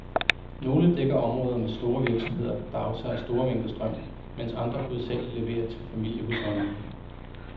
Nogle dækker områder med store virksomheder, der aftager store mængder strøm, mens andre hovedsageligt leverer til familiehusholdninger.